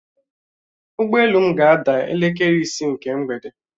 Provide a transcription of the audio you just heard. Ụgbọelu m ga-ada elekere isi nke mgbede